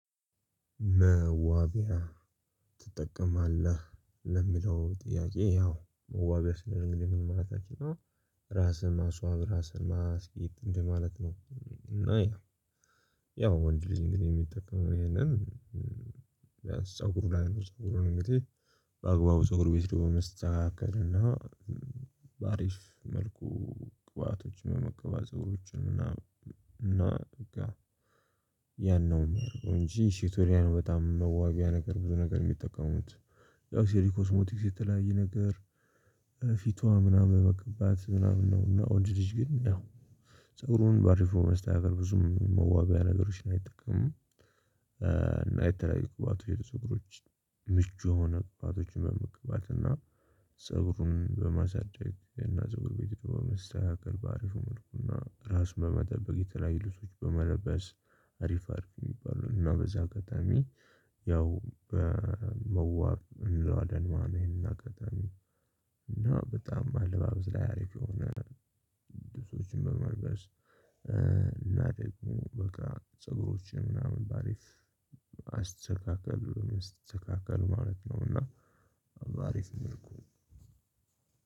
“መዋቢያ ትጠቀማለህ?” ለሚለው ጥያቄ፣ ያው መዋቢያ ስለሚል እንግዲህ ምን ማለት ነው? ራስህን ማስዋብ፣ ራስህን ማስጌጥ እንደማለት ነው። እና ያው፣ ወንድልጅ እንግዲህ የሚጠቀመው ይሄንን ፀጉር ላይ ነው። ፀጉር እንግዲህ በአግባቡ በፀጉር ቤት ደግሞ መስተካከል እና በአሪፍ መልኩ ቅባቶችን የመቀበል፤ ፀጉሮችን እና በቃ ያን ነው የሚያደርገው እንጂ፤ ሽቶሪያ ነው በጣም መዋቢያ ነገር ብዙ ነገር የሚጠቀሙት ያው ሴሪ ኮስሞቲክስ የተለያየ ነገር ኤ ፊቷን ምናምን መቀባት ምናምን ነው። እና ወንድ ልጅ ግን ያው ፀጉሩን በአሪፍ መልኩ ማስተካከል ነው፤ ብዙም መዋቢያ ነገሮችን አይጠቀሙም ኤ እና የተለያዩ ቅባቶችን፣ የፀጉሮች ምቹ የሆኑ ቅባቶችን መቀባትና ፀጉሩን በማሳደግ እና በፀጉር ቤት ሂዶ መስተካከል፣ በአሪፍና ራስን በመጠበቅ፣ የተለያዩ ልብሶችን በመለበስ አሪፍ አሪፍ የሚባለውን እና በዚህ አጋጣሚ ያው በኤ መዋብ እና አደንማ ነው ይሄንን አጋጣሚ እና በጣም አለባበስ ላይ አሪፍ የሆነ ልብሶችን በመልበስ እ እናቴ በቃ ፀጉሮችን ምናምን በአሪፍ አስተካክል ምናምን አስተካክል ማለት ነው እና በአሪፍ መልኩ